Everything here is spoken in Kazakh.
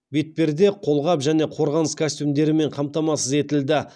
бетперде қолғап және қорғаныс костюмдерімен қамтамасыз етілді